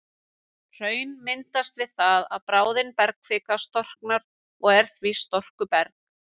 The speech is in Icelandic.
Hraun myndast við það að bráðin bergkvika storknar og er því storkuberg.